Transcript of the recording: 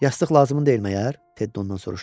Yastıq lazım deyil məyər?